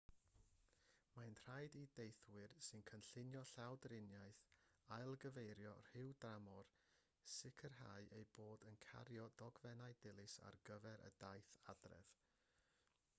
mae'n rhaid i deithwyr sy'n cynllunio llawdriniaeth ailgyfeirio rhyw dramor sicrhau eu bod yn cario dogfennau dilys ar gyfer y daith adref